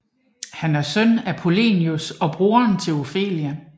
Han er søn til Polonius og broderen til Ofelia